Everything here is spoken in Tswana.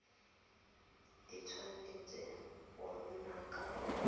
di tshwanetse go nna ka